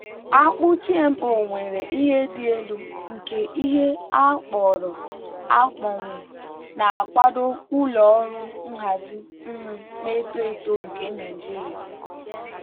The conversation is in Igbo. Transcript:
akpu gmo nwere ihe dị elu nke ihe akpọrọ akpọnwụ na-akwado ụlọ ọrụ nhazi nri na-eto eto nke nigeria.